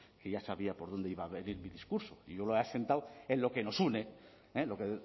que ya sabía por dónde iba a venir mi discurso y yo lo he asentado en lo que nos une el